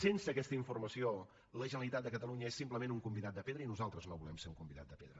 sense aquesta informació la generalitat de catalunya és simplement un convidat de pedra i nosaltres no volem ser un convidat de pedra